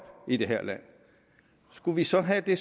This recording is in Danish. i det her land skulle vi så have det